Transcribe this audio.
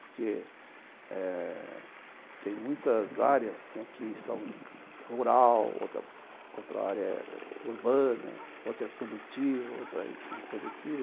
Porque eh tem muitas áreas que são rural, outra área é urbana, outra é produtiva, outra é improdutiva.